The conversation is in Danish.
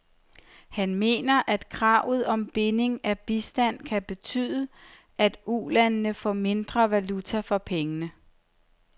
Han mener, at kravet om binding af bistanden kan betyde, at ulandene får mindre valuta for pengene.